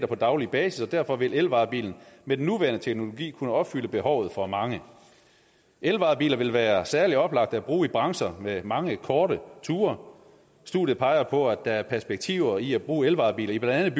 på daglig basis og derfor vil elvarebilen med den nuværende teknologi kunne opfylde behovet for mange elvarebiler vil være særlig oplagte at bruge i brancher med mange korte ture studiet peger på at der er perspektiver i at bruge elvarebiler i blandt